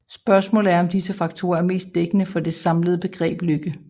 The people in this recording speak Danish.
Spørgsmålet er om disse faktorer er mest dækkende for det samlede begreb lykke